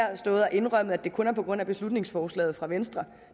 stået her og indrømmet at det kun er på grund af beslutningsforslaget fra venstre